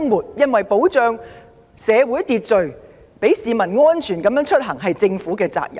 須知道維持社會秩序，讓市民安全出行是政府的責任。